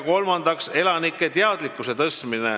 Kolmandaks tuleb tõsta elanike teadlikkust.